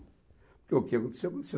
Porque o que aconteceu, aconteceu.